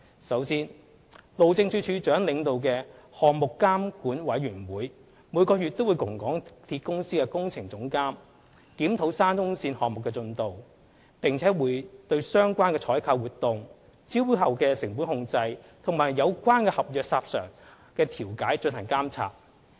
首先，路政署署長領導的項目監管委員會每月與港鐵公司的工程總監檢討沙中線項目進度，並對相關採購活動、招標後的成本控制和有關合約申索的調解進行監察。